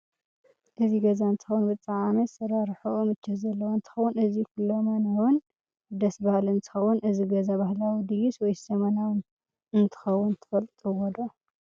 እዚ ገዛ እንትኸውን ብጣዓም አሰራርሑ ምቸት ዘለዎ እንትከውን እዚ ከሎመን እውን ደሰ ብሃሊ እንትከውን እዝ ገዛ ባህላዊ ድይስ ወይ ዘመናዊ አንትከውን ትፈልጥዎዶ?